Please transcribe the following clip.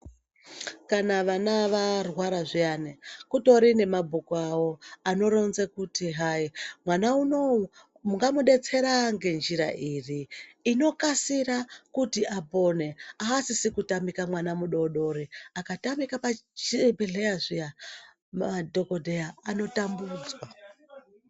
Kana vana varwara zviyani kutori nemabhuku avo anoronza hai kuti mwana unowu mungamudetsera ngenjira iri inokasira kuti apone. Asisi kutamika mwana mudodori, akatamika pachibhehleya zviya madhokodheya anotambudzwa.